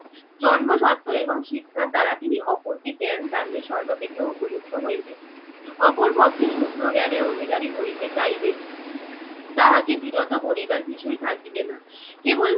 জন্ম স্বত্ত এবং শিক্ষার দ্বারা তিনি অপরকে জ্ঞান দানে সর্বাপেক্ষা উপযুক্ত হইবেন। অপর পক্ষে শুদ্র জ্ঞানের অধিকারী হইতে চাইলে তাহাকে বিরত করিবার কিছুই থাকিবে না। কেবল